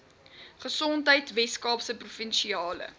gesondheid weskaapse provinsiale